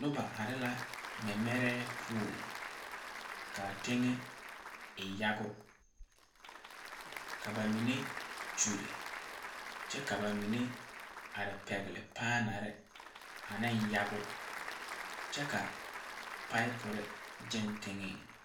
Noba are la mɛmɛrɛɛ poɔŋ ka teŋɛ e yago ka ba mine kyulle kyɛ ka ba mine are pɛgle paanare ane yago kyɛ ka paaipore gyɛŋ teŋeŋ.